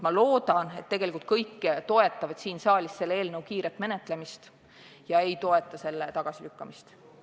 Ma loodan, et kõik toetavad siin saalis selle eelnõu kiiret menetlemist ega toeta selle tagasilükkamist.